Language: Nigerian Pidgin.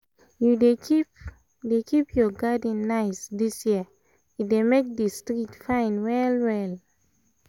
you dey keep dey keep your garden nice this year — e dey make the street fine well well